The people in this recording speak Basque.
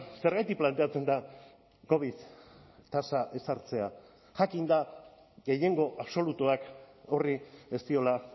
zergatik planteatzen da covid tasa ezartzea jakinda gehiengo absolutuak horri ez diola